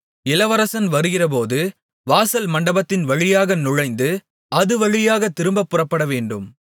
இளவரசன் வருகிறபோது வாசல் மண்டபத்தின் வழியாக நுழைந்து அது வழியாகத் திரும்பப் புறப்படவேண்டும்